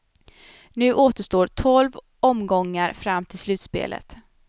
Nu återstår tolv omgångar fram till slutspelet.